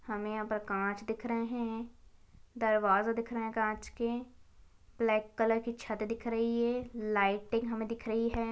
हमे यहाँ पर कांच दिख रहे है दरवाजा दिख रहे है कांच के ब्लैक कलर की छत दिख रही है लाइटिंग हमे दिख रही है।